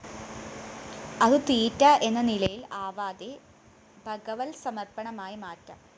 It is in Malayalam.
അതു തീറ്റ എന്ന നിലയില്‍ ആവാതെ ഭഗവത്സമര്‍പ്പണമായി മാറ്റാം